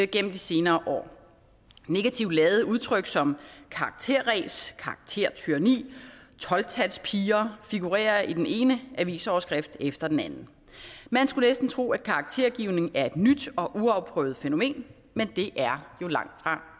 gennem de senere år negativt ladede udtryk som karakteræs karaktertyranni tolv talspiger figurerer i den ene avisoverskrift efter den anden man skulle næsten tro at karaktergivning er et nyt og uafprøvet fænomen men det er jo langtfra